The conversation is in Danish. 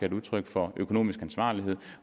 et udtryk for økonomisk ansvarlighed